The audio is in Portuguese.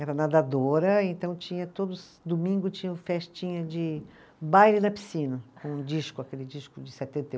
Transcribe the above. Era nadadora, então tinha, todo domingo tinha festinha de baile na piscina, com um disco, aquele disco de setenta e